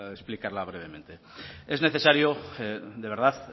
explicarla brevemente es necesario de verdad